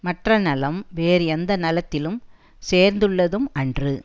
மற்ற நலம் வேறு எந்த நலத்திலும் சேர்ந்துள்ளதும் அன்று